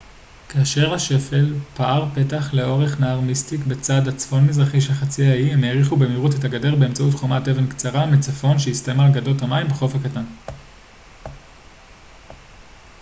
כאשר השפל פער פתח לאורך נהר מיסטיק בצד הצפון-מזרחי של חצי האי הם האריכו במהירות את הגדר באמצעות חומת אבן קצרה מצפון שהסתיימה על גדות המים בחוף קטן